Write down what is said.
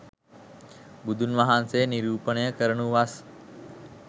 බුදුන්වහන්සේ නිරූපණය කරනු වස්